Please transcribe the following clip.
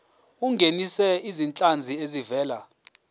ungenise izinhlanzi ezivela